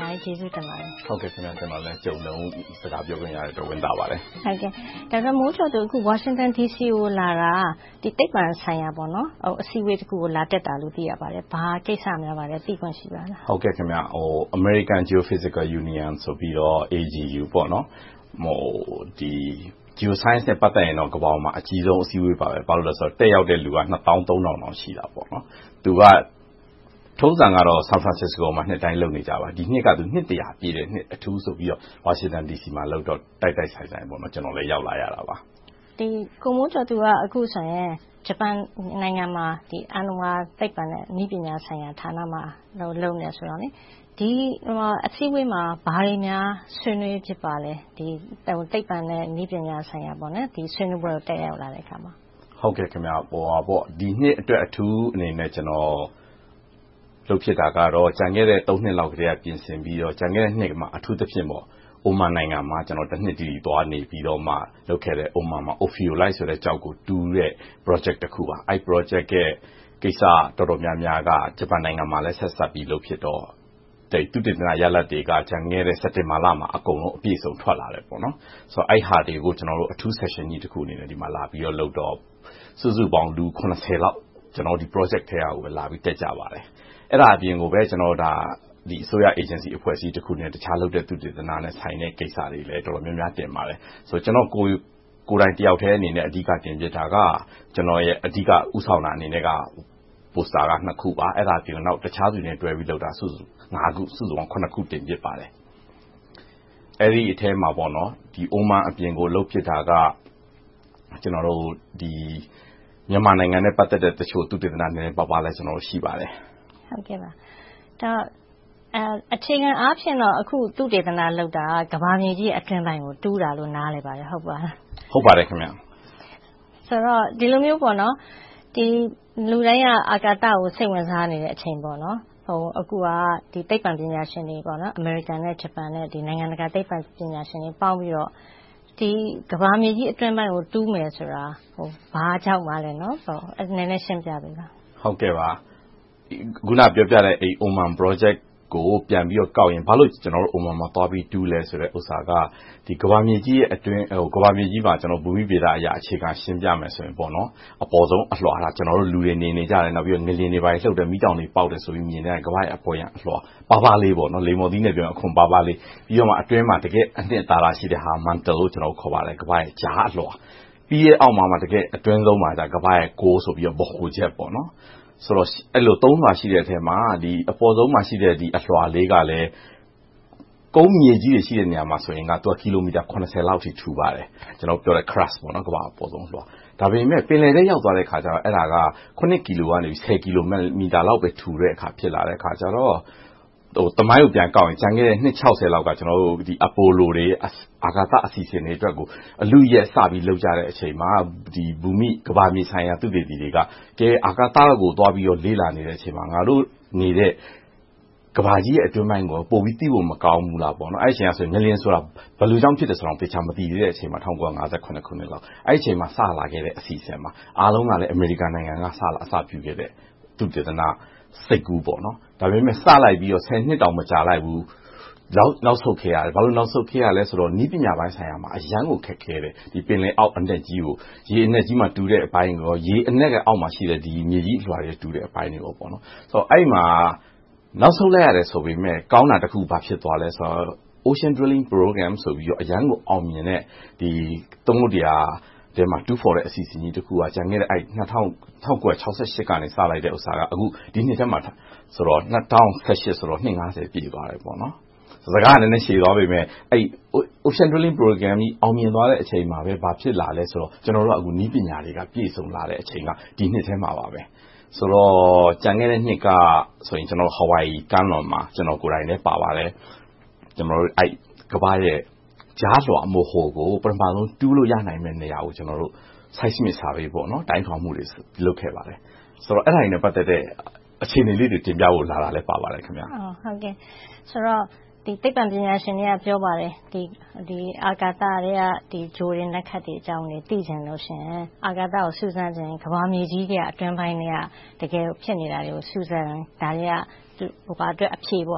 များကြီးကျေးဇူးတင်ပါတယ်။ ကျနော်လည်းကြုံတုန်း စကားပြောခွင့်ရတဲ့အတွက် ဝမ်းသာပါတယ်။ အခု Washington DC ကို ရောက်လာတာ သိပ္ပံဆိုင်ရာ အစည်းအဝေးတခုကို လာတက်တာလို့ သိရပါတယ်။ ဘာကိစ္စများပါလိမ့် သိခွင့်ရှိပါလား။ American Geophysical Union လို့ခေါ်တဲ့ Geoscience နဲ့ ပတ်သက်ရင်တော့ ကမ္ဘာပေါ်မှာ အကြီးဆုံးအစည်းအဝေးပါ။ ဘာဖြစ်လို့လဲဆိုတော့ တက်ရောက်တဲ့လူက နှစ်သောင်းသုံးထောင်လောက် ရှိတယ်။ ထုံစံကတော့ San Francisco မှာ နှစ်တိုင်းလုပ်နေကြပါ။ ဒီနှစ်ကတော့ နှစ် ပြည့် အထူးဆိုပြီး Washington DC လုပ်တော့ တိုက်တိုက်ဆိုင်ဆိုင်ပဲ ကျနော်လည်း ရောက်လာခဲ့ရတာ။ ကိုမိုးကျော်သူ က အခုဆိုရင် ဂျပန်နိုင်ငံမှာ အာဏာဝါသိပ္ပံနဲ့ နည်းပညာဆိုင်ရာဆိုင်ရာဌာနမှာ လုပ်နေတယ်ဆိုတော့ ဒီအစည်းအဝေးမှာ ဘာတွေများ ဆွေးနွေးဖြစ်ပါလဲ - သိပ္ပံနဲ့ နည်းပညာအကြောင်း ဒီဆွေးနွေးပွဲကို တက်ရောက်လာတဲ့အခါ။ ဒီနှစ်အတွက် အထူးအနေနဲ့ လုပ်ဖြစ်တာကတော့ ကျန်ခဲ့တဲ့ နှစ် လောက်ကတည်းက ပြင်ဆင်ခဲ့ပြီး၊ ကျန်ခဲ့တဲ့နှစ်မှာ အထူးသဖြင့် Oman နိုင်ငံမှာ နှစ်တိတိ သွားနေပြီးတော့မှ လုပ်ခဲ့တဲ့ အိုဖီရိုလိုက် Ophiolite ကျောက်ကိုတူးတဲ့ Project တခုပါ။ အဲဒီ Project ရဲ့ ကိစ္စတော်တော်များများက ဂျပန်နိုင်ငံမှာလည်း ဆက်စပ်ပြီးလုပ်ဖြစ်တော့ သုတေသနရလဒ်တွေက ကျန်ခဲ့တဲ့ စက်တင်ဘာလမှာ အကုန်လုံးအပြည့်အစုံထွက်လာတယ်။ အဲဒါတွေကို ကျနော်တို့ အထူး Section ကြီးတခုအနေနဲ့ ဒီမှာလာပြီးတော့လုပ်တော့ စုစုပေါင်း လူ ဒီ Project ထဲက လာပြီးတက်ကြပါတယ်။ အဲဒါအပြင် အစိုးရ အေဂျင်စီအဖွဲ့အစည်းတခုနဲ့ တခြားသုတေသနနဲ့ဆိုင်တဲ့ ကိစ္စတွေ တော်တော်များများလည်း တင်ပါတယ်။ ကျနော့်ကိုယ်တိုင်တယောက်ထဲအနေနဲ့ တင်ပြဖြစ်တာက ကျနော့်ရဲ့ အဓိကဦးဆောင်တင်ပြတဲ့ Poster က နှစ်ခုပါ။ အဲဒါအပြင် တခြားသူတွေနဲ့တွဲပြီးလုပ်တာ ခု၊ စုစုပေါင်း ခု တင်ဖြစ်ပါတယ်။ အဲဒီအထဲမှာ Oman အပြင် လုပ်ဖြစ်တာက မြန်မာနိုင်ငံနဲ့ပတ်သက်တဲ့ တချို့သုတေသနနည်းနည်းပါးပါးလည်း ရှိပါတယ်။ အချိန်အားဖြင့် အခုသုတေသနလုပ်တာ ကမ္ဘာမြေကြီးအတွင်းပိုင်းကို တူးတာလို့ နားလည်ပါတယ်။ ဟုတ်ပါသလား။ ဟုတ်ပါတယ်။ ဆိုတော့ ဒီလိုမျိုး လူတိုင်းက အာကာသကို စိတ်ဝင်စားနေတဲ့အချိန် အခုက သိပ္ပံပညာရှင်တွေ အမေရိကန်၊ ဂျပန်နဲ့ နိုင်ငံတကာသိပ္ပံပညာရှင်တွေပေါင်းပြီးတော့ ကမ္ဘာမြေကြီးအတွင်းပိုင်းကို တူးမယ်ဆိုတာ ဘာကြောင့်ပါလဲ။ နည်းနည်းရှင်းပြပေးပါ။ အခုနပြောပြတဲ့ Oman Project ကို ပြန်ပြီးတော့ကောက်ရင် ဘာဖြစ်လို့ Oman မှာ သွားပြီးတူးတဲ့ကိစ္စက ကမ္ဘာမြေကြီးမှာ ဘူမိဗေဒအရ အခြေခံရှင်းပြရမယ်ဆိုရင် အပေါ်ဆုံးအလွှာက လူတွေနေနေကြတယ်။ ငလျှင်တွေလှုပ်တယ်။ မီးတောင်တွေပေါက်တယ်ဆိုပြီး မြင်ကြတာ ကမ္ဘာ့ရဲ့ အပေါ်ဆုံးအလွှာ ပါးပါးလေး လိမ္မော်သီးနဲ့ပြောရင် အခွံပါးပါးလေး။ ပြီးတော့မှ အတွင်းမှာ တကယ့်အနစ်သာရရှိတဲ့ဟာက mantle လို့ခေါ်ပါတယ်။ ကမ္ဘာ့ရဲ့ ကြားအလွှာ။ နောက် အတွင်းဆုံးမှာက ကမ္ဘာ့ရဲ့ဗဟိုချက် Core ဆိုပြီး သုံးလွှာရှိတဲ့အထဲမှာ အပေါ်ဆုံးမှာရှိတဲ့ အလွှာလေးကလည်း ကုန်မြေကြီးတွေရှိတဲ့နေရာမှာ ကီလိုမီတာ လောက်အထိ ထူပါတယ်။ ကျနော်ပြောနေတဲ့ Crust ကမ္ဘာ့အပေါ်ဆုံးအလွှာ။ ဒါပေမဲ့ ပင်လယ်ထဲရောက်သွားတဲ့အခါကြတော့ အဲဒါက ကီလိုမီတာကနေ ကီလိုမီတာလောက်ပဲ ထူတော့တယ်။ အဲဒီတော့ သမိုင်းကိုပြန်ကောက်ပြောရရင် ကျန်ခဲ့တဲ့ နှစ် လောက်က အပိုလိုတွေ၊ အာကာသအစီအစဉ်တွေကို အလုအယက်စပြီး လုပ်ကြတဲ့အခါ ဘူမိ - ကမ္ဘာမြေဆိုင်ရာ သုတေသီတွေက အာကာသကိုသွားပြီးတော့ လေ့လာနေတဲ့အချိန်မှာ ငါတို့နေတဲ့ ကမ္ဘာကြီးရဲ့ အတွင်းပိုင်းကို ပိုပြီးသိဖို့ မကောင်းဘူးလားပေါ့။ အဲဒီတုန်းက ငလျှင်ဆိုတာ ဘာကြောင့်ဖြစ်သလဲဆိုတာကို မသိသေးတဲ့အချိန်။ ၁၉၅၇ ခုနှစ်လောက် အဲဒီအချိန်လောက်မှာ စလာတဲ့အစီအစဉ်ပါ။ အားလုံးကလဲ အမေရိကန်က စလာတဲ့ သုတေသနစိတ်ကူး။ ဒါပေမဲ့ စလိုက်ပြီး နှစ်တောင် မကြာလိုက်ဘူး။ နောက်ဆုတ်ခဲ့ရတယ်။ ဘာကြောင့် နောက်ဆုတ်ခဲ့ရလဲဆိုတော့ နည်းပညာပိုင်းဆိုင်ရာမှာ အရမ်းကိုခက်ခဲတယ်။ ပင်လယ်အောက် ရေအနက်ကြီးမှာ တူးတဲ့အပိုင်းနဲ့ ရေအနက်မှာရှိတဲ့ မြေကြီးအလွှာတွေကို တူးတဲ့အပိုင်းတွေမှာပါ။ အဲဒီမှာ နောက်ဆုတ်လိုက်ရတယ်ဆိုပေမယ့် ကောင်းတာ ဘာဖြစ်သွားလဲဆိုတော့ Ocean Drilling Program ဆိုပြီး အရမ်းကိုအောင်မြင်တဲ့ သမုဒ္ဒရာထဲမှာ တူးဖော်တဲ့အစီအစဉ်ကြီးတခုက ကျန်ခဲ့တဲ့ ၁၉၆၈ ကနေ စလိုက်တာ ဒီနှစ်ထဲမှာဆိုရင် ၂၀၁၈ ဆို နှစ် ပြည့်သွားခဲ့တယ်။ စကားကနည်းနည်းရှည်သွားပေမယ့် Ocean Drilling Program ကြီး အောင်မြင်သွားတဲ့အချိန်မှာပဲ ဘာဖြစ်လာလဲဆိုတော့ ကျနော်တို့ နည်းပညာတွေက ပြည့်စုံလာတဲ့အချိန်က ဒီနှစ်ထဲမှာပါ။ ဆိုတော့ ကျန်တဲ့နှစ်ကဆိုရင် Hawaii ကမ်းလွန်မှာ ကျနော်ကိုယ်တိုင်လည်းပါပါတယ် ကမ္ဘာ့ရဲ့ကြားလွှာ ဗဟိုကို ပထမဦးဆုံး တူးနိုင်မယ့်နေရာကို Site Survey တိုင်းထွာမှုတွေ လုပ်ခဲ့ပါတယ်။ ဆိုတော့ အဲဒါနဲ့ ပတ်သက်တဲ့ အခြေအနေလေးတွေ တင်ပြဖို့လာတာ ဖြစ်ပါတယ်။ ဆိုတော့ သိပ္ပံပညာရှင်တွေက ပြောပါတယ် အာကာသထဲက ဂြိုဟ်တွေ၊ နက္ခတွေအကြောင်းတွေ သိချင်လို့ရှိရင်၊ စူးစမ်းချင်ရင် ကမ္ဘာမြေကြီးထဲက အတွင်းပိုင်းထဲက တကယ်ကိုဖြစ်နေတာတွေကို စူးစမ်းတဲ့အခါ ဒါတွေက အဖြေတွေ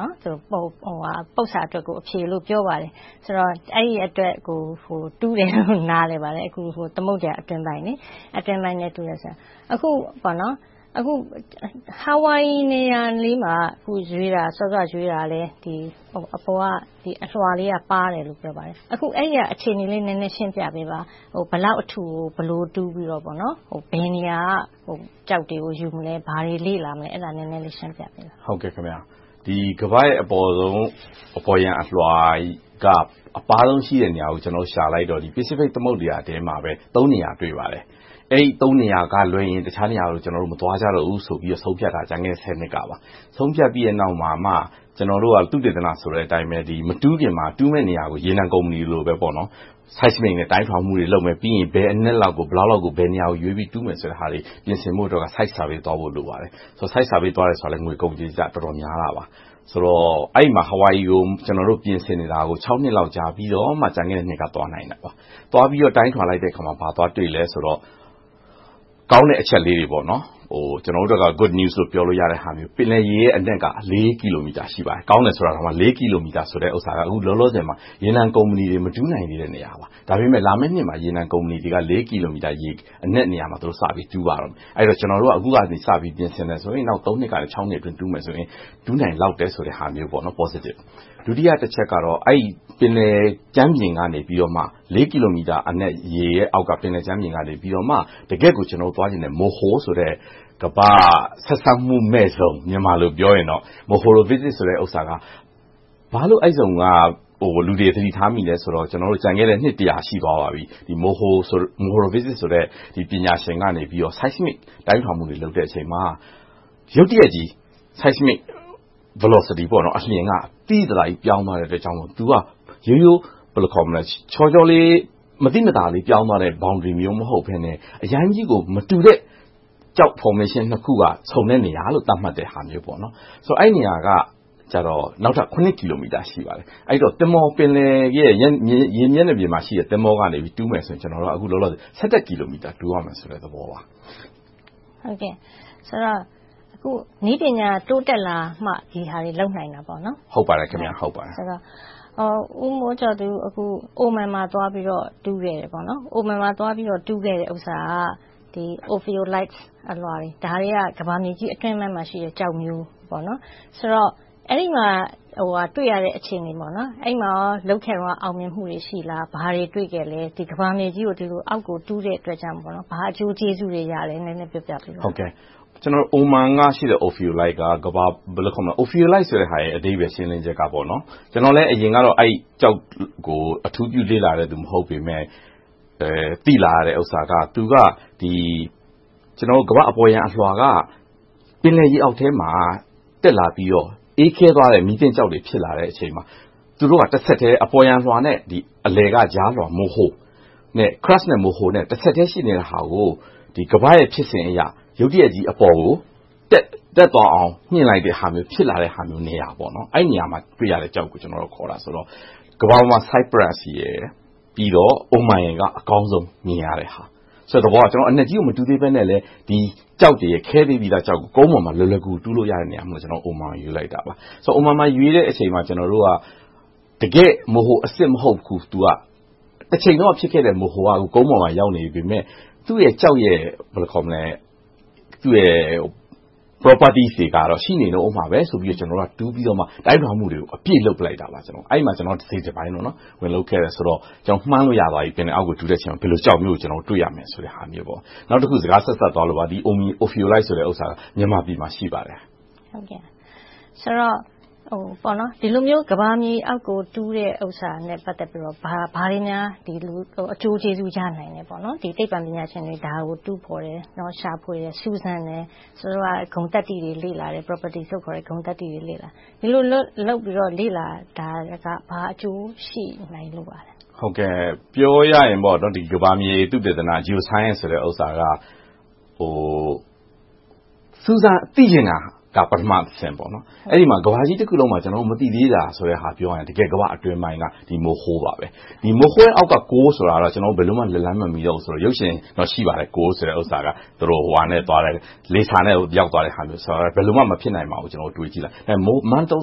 လို့ ပြောပါတယ်။ အဲဒီအတွက်ကို တူးတယ်လို့ နားလည်ပါတယ်။ အခု သမုဒ္ဒရာအတွင်းပိုင်းထဲ တူးတယ်ဆိုတာ။ အခု Hawaii နေရာလေးမှာ ရွေးတာကလည်း အပေါ်ကအလွှာလေးက ပါးတယ်လို့ ဆိုပါတယ်။ အဲဒီအခြေအနေလေးကို နည်းနည်းရှင်းပြပေးပါ။ ဘယ်လောက်အထူကို ဘယ်လိုတူးပြီးတော့ ဘယ်နေရာက ကျောက်တွေကို ယူမလဲ။ ဘာတွေလေ့လာသလဲဆိုတာကို နည်းနည်းလေး ရှင်းပြပေးပါ။ ကမ္ဘာ့ရဲ့ အပေါ်ယံအလွှာရဲ့ အပါးဆုံးရှိတဲ့ နေရာကို ရှာလိုက်တော့ Pacific သမုဒ္ဒရာထဲမှာပဲ နေရာ တွေ့ပါတယ်။ အဲဒီ နေရာကလွဲရင် တခြားနေရာတွေကို မသွားကြတော့ဘူးဆိုပြီး ဆုံးဖြတ်ခဲ့တာ ကျန်ခဲ့တဲ့ နှစ်လောက်ကပါ။ ဆုံးဖြတ်ခဲ့ပြီးပြီမှ ကျနော်တို့ သုတေသနဆိုတဲ့အတိုင်းပဲ မတူးခင်မှာ တူးမယ့်နေရာကို ရေနံကုမ္ပဏီတွေလိုပဲ Site Survey တွေလုပ်မယ်။ ဘယ်အနက်လောက်ကို ဘယ်လောက်လောက်ကို ဘယ်နေရာကိုရွေးပြီး တူးဖို့အတွက် Site Survey လုပ်ဖို့ လိုပါတယ်။ Site Survey ကလည်း ငွေကုန်ကြေးကြ အတော်များပါတယ်။ အဲဒီ Hawaii မှာ ပြင်ဆင်နေတာ နှစ်လောက် ကြာပြီးမှ ကျန်ခဲ့တဲ့နှစ်က သွားနိုင်တာပါ။ သွားပြီးတော့ တိုင်းထွာလိုက်တဲ့အခါမှာ ဘာသွားတွေ့သလဲဆိုတော့ ကောင်းတဲ့အချက်လေးတွေ ကျနော်တို့အတွက်တော့ Good news ရတဲ့သဘော။ ပင်လယ်ရေရဲ့ အနက်က ကီလိုမီတာ ရှိပါတယ်။ ကောင်းတယ်ဆိုတာတောင် ကီလိုမီတာဆိုတဲ့ဟာက လောလောဆယ်မှာ ရေနံကုမ္ပဏီတွေ မတူးနိုင်သေးတဲ့နေရာ။ ဒါပေမဲ့ လာမယ့်နှစ်မှာ ရေနံကုမ္ပဏီတွေက ကီလိုမီတာ ရေအနက်နေရာမှာ စပြီးတော့ တူးပါတော့မယ်။ အဲဒီတော့ ကျနော်တို့က အခုကတည်းကစပြီး ပြင်ဆင်မယ်ဆိုရင် နောက် နှစ်ကနေ နှစ်အတွင်း တူးမယ်ဆိုရင် တူးနိုင်လောက်တယ်ဆိုတဲ့ဟာမျိုး Postive ဖြစ်ပါတယ်။ ဒုတိယတချက်က အဲဒီ ပင်လယ်ကြမ်းပြင်ကနေမှ ကီလိုမီတာအနက် ရေရဲ့အောက်ကနေ တကယ့်ကို ကျနော်တို့ သွားချင်တဲ့ Moho ဆိုတဲ့ ကမ္ဘာ့ဆက်စပ်မှုမဲ့ဇုန် - ဘာဖြစ်လို့ အဲဒီဇုန်က လူတွေ သတိထားမိလဲဆိုတော့ ကျန်ခဲ့တဲ့ နှစ် ရှိသွားပါပြီ။ Mohoroviči ပညာရှင်ကနေ Site survey တိုင်းထွာမှုတွေ လုပ်တဲ့အခါမှာ ရုတ်တရက်ကြီး Site survey velocity အလျင်က သိသိသာသာကြီး ပြောင်းသွားတဲ့အတွက်ကြောင့်မို့ သူက ရိုးရိုးလေး၊ မသိမသာ ပြောင်းသွားတဲ့ Boundary မျိုး မဟုတ်ဘဲနဲ့ အရမ်းကြီးကို မတူတဲ့ Rock formation နှစ်ခုက ဆုံတဲ့နေရာလို့ သတ်မှတ်တဲ့ဟာမျိုး။ ဆိုတော့ အဲဒီနေရာက နောက်ထပ် ကီလိုမီတာ ရှိပါတယ်။ ပင်လယ်ရဲ့ ရေမျက်နှာပြင်မှာရှိတဲ့ သင်္ဘောကနေ တူးမယ်ဆိုရင် အခုလောလောဆယ် ကီလိုမီတာ တူးရမယ့် သဘောပါ။ အခု နည်းပညာတိုးတက်လာမှ ဒီဟာတွေကို လုပ်နိုင်တာပေါ့။ ဦးမိုးကျော်သူ Oman မှာ သွားပြီးတော့ တူးခဲ့တဲ့ဥစ္စာက အိုဖီရိုလိုက် Ophiolite ကျောက် အလွှာတွေ ကမ္ဘာမြေကြီးအတွင်းပိုင်းမှာရှိတဲ့ ကျောက်မျိုး။ ဆိုတော့ အဲဒီမှာ တွေ့ရတဲ့အခြေအနေ။ အဲဒီမှာ လုပ်ခဲ့တုန်းက အောင်မြင်မှုတွေ ရှိလား။ ဘာတွေ တွေ့ခဲ့လဲ။ ကမ္ဘာမြေကြီး အောက်ကိုတူးတဲ့အတွက်ကြောင့် ဘာအကျိုးကျေးဇူးတွေ ရလဲ။ နည်းနည်းပြောပြပေးပါ။ အိုမန်ကရှိတဲ့ အိုဖီရိုလိုက် က အဲဒီအဓိပ္ပါယ်ရှင်းလင်းချက်က ကျနော်လည်း အရင်က အဲဒီကျောက်ကို အထူးပြုလေ့လာတဲ့ လူမဟုတ်ပေမယ့် သိလာရတဲ့ဥစ္စာက သူက ကမ္ဘာ့အပေါ်ယံအလွှာက ပင်လယ်ရေအောက်ထဲမှာ တက်လာပြီးတော့ အေးခဲသွားတဲ့ မီးသင့်ကျောက်တွေ ဖြစ်လာတဲ့အခါမှာ သူတို့ဟာ တဆက်တည်း အပေါ်ယံအလွှာနဲ့ အလယ်ကကြားလွှာ Moho နဲ့ Crust တဆက်တည်းရှိနေတဲ့ဟာကို ကမ္ဘာ့ရဲ့ဖြစ်စဉ်အရ ရုတ်တရက်ကြီးအပေါ်ကို တက်သွားအောင် မြှင့်လိုက်တဲ့ဟာမျိုးဖြစ်လာတဲ့နေရာ။ အဲဒီနေရာမှာ တွေ့ရတဲ့ကျောက်ကို ခေါ်တာဆိုတော့ သူက ကမ္ဘာပေါ်မှာ Cyprus မှာ ရှိတယ်။ နောက် Oman မှာက အကောင်းဆုံးမြင်ရတဲ့ဟာဆိုတော့ ကျနော်တို့က အနက်ကြီးကို မတူးသေးဘဲနဲ့ ဒီကျောက်တွေကို ကုန်ပေါ်မှာ လွယ်လွယ်ကူကူ တူးလို့ရတဲ့နေရာရှိတဲ့ အိုမန် ကို ရွေးလိုက်တာပါ။ အိုမန်မှာ ရွေးလိုက်ပြီး ကျနော်တို့က တကယ့် Moho အစစ်မဟုတ်ဘူး။ တချိန်တုန်းက ဖြစ်ခဲ့တဲ့ Moho က ကုန်ပေါ်မှာ ရောက်နေပေမယ့် သူ့ရဲ့ Properties ဂုဏ်သတ္တိ တွေကတော့ ရှိနေအုံးမှာပဲဆိုပြီးတော့ တူးပြီးတော့ တိုင်းထွာမှုတွေကို အပြည့်လုပ်ကြတယ်။ အဲဒီမှာ တစိတ်တပိုင်း ဝင်လုပ်ခဲ့တယ်ဆိုတော့ မှန်းလို့ရသွားပြီ၊ ပင်လယ်အောက်ကို တူးတဲ့အချိန်မှာ ဘယ်လိုကျောက်မျိုးကို တွေ့ရမယ်ဆိုတာ။ နောက်တခု စကားဆက်စပ်သွားလို့ပါ ဒီ အိုဖီရိုလိုက်ဆိုတဲ့ဟာက မြန်မာပြည်မှာ ရှိပါတယ်။ ဆိုတော့ ဒီလိုမျိုး ကမ္ဘာမြေအောက်ကို တူးတဲ့ဥစ္စာနဲ့ ပတ်သက်ပြီးတော့ ဘာတွေများ အကျိုးကျေးဇူး ရနိုင်သလဲ။ သိပ္ပံပညာရှင်တွေ ဒါတွေတူးဖော်တယ်။ ရှာဖွေတယ်။ စူးစမ်းတယ်။ ဂုဏ်သတ္တိတွေ လေ့လာတယ်။ ဒီလိုလုပ်ပြီး လေ့လာတာတွေက ဘာအကျိုးရှိနိုင်လို့လဲ။ ပြောရရင် ကမ္ဘာမြေသုတေသန Geosciences ဆိုတာက စူးစမ်းသိချင်တာက ပထမအဆင့်။ အဲဒီမှာ ကမ္ဘာကြီးတခုလုံးမှာ ကျနော်တို့ မသိသေးတာကို ပြောရရင် ကမ္ဘာ့အတွင်းပိုင်းက Moho ပါ။ Moho ရဲ့အောက်က Core ဆိုတာတော့ ဘယ်လိုမှ လက်လှမ်းမမီသေးပါဘူး။ ရုပ်ရှင်တော့ ရှိပါတယ်။ လေဆာနဲ့ ရောက်သွားတဲ့ဟာမျိုး။ ဘယ်လိုမှ မဖြစ်နိုင်ပါဘူး။ ကျနော်တို့ တွေးကြည့်တာ။ Moho ကိုတော့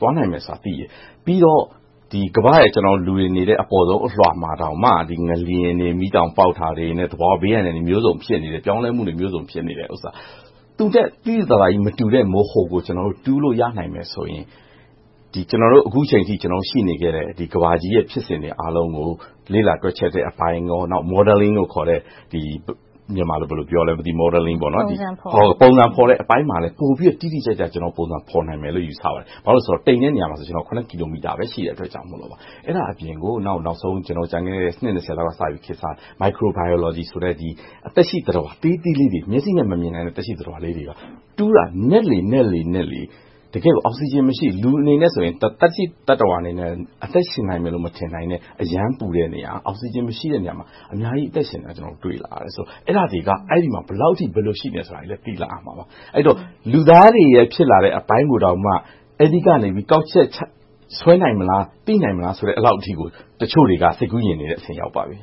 သွားနိုင်မယ်ဆိုတာ ကျနော်တို့ သိတယ်။ ပြီးတော့ ကမ္ဘာ့ရဲ့အပေါ်ဆုံးအလွှာ လူတွေနေတဲ့နေရာမှာတောင်မှ ငလျှင်တွေ၊ မီးတောင်ပေါက်တာနဲ့ သဘာဝဘေးအန္တရာယ်တွေ အမျိုးစုံဖြစ်နေတယ်၊ ပြောင်းလဲမှုတွေ ဖြစ်နေတဲ့ဟာ သူ့ထက် သိသိသာသာကြီး မတူတဲ့ Moho ကို တူးလို့ရနိုင်မယ်ဆိုရင် ကျနော်တို့ အခုအချိန်အထိ ရှိနေခဲ့တဲ့ ကမ္ဘာကြီးရဲ့ ဖြစ်စဉ်တွေအားလုံးကို လေ့လာတွက်ချက်တဲ့အပိုင်း၊ နောက် Modeling လို့ခေါ်တဲ့ ပုံစံဖော်တဲ့အပိုင်းမှာလည်း ပိုပြီးတော့ တိတိကျကျ ပုံစံဖော်နိုင်မယ်လို့ ယူဆပါတယ်။ ဘာဖြစ်လို့လဲဆိုတော့ တိမ်တဲ့နေရာမှာဆိုရင် ကီလိုမီတာပဲ ရှိတဲ့အတွက်ကြောင့် အဲဒါအပြင်ကို ကျနော်တို့နောက်ဆုံး ကျန်တဲ့ နှစ် လောက်က ခေတ်စားလာတဲ့ Microbiology သက်ရှိသတ္တဝါသေးသေးလေးတွေ မျက်စိနဲ့မမြင်နိုင်တဲ့ သက်ရှိသတ္တဝါလေးတွေကို တူးတာနက်လေနက်လေ အောက်စီဂျင်မရှိတဲ့နေရာမှာ လူအနေနဲ့ဆိုရင် သက်ရှိသတ္တဝါအနေနဲ့ သက်ရှင်မနေနိုင်တဲ့ အရမ်းပူတဲ့နေရာ၊ အောက်စီဂျင်မရှိတဲ့နေရာမှာ အများကြီးအသက်ရှင်နေတာကို တွေ့လာရတယ်ဆိုတော့ အဲဒါတွေက အဲဒီမှာ ဘယ်လောက်အထိ ဘယ်လိုရှင်သန်နေတယ်ဆိုတာကို သိလာရမှာပါ။ လူသားတွေရဲ့ ဖြစ်လာတဲ့အပိုင်းကိုတောင်မှ အဲဒီကနေ ကောက်ချက်ချဆွဲနိုင်မလား။ သိနိုင်မလားဆိုတဲ့အထိကို တချို့တွေက စိတ်ကူးယဉ်တဲ့အဆင့် ရောက်နေပါပြီ။